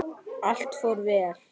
Allt fór vel.